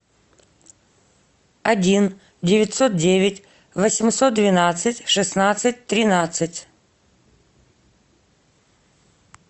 один девятьсот девять восемьсот двенадцать шестнадцать тринадцать